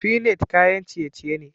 Finite kayan ciye-ciye ne.